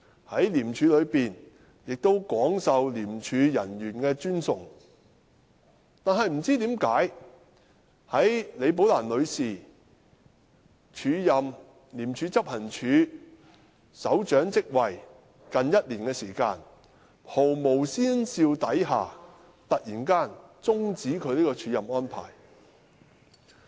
在廉署中亦廣受廉署人員的尊崇，但不知甚麼緣故，在李寶蘭女士署任廉署執行處首長職位近一年後，在毫無先兆之下突然終止她署任這職位的安排。